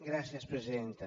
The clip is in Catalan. gràcies presidenta